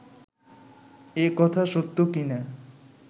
এ কথা সত্য কি না